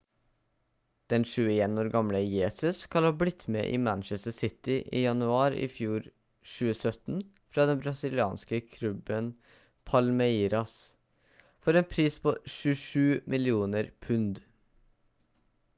den 21 år gamle jesus skal ha blitt med i manchester city i januar i fjor 2017 fra den brasilianske klubben palmeiras for en pris på 27 millioner pund